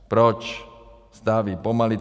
Proč staví pomalu?